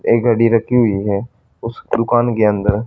एक घड़ी रखी हुई है उस दुकान के अंदर--